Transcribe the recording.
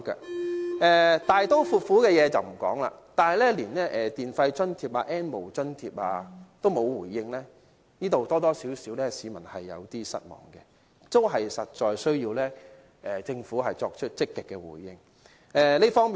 我不談大刀闊斧的事，但是，連電費津貼、"N 無津貼"亦沒有回應，這樣多多少少會令市民有點失望，這方面實在需要政府作出積極的回應。